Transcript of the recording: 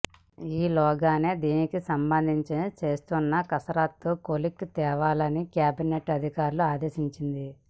ఈ లోగానే దీనికి సంబం ధించి చేస్తున్న కసరత్తు కొలిక్కి తేవాలని క్యాబినెట్ అధికారులను ఆదేశించింది